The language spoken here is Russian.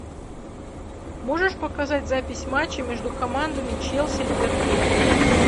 можешь показать запись матча между командами челси ливерпуль